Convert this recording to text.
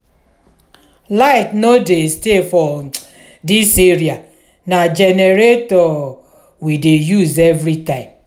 light no dey stay for dis area na generator we dey use every time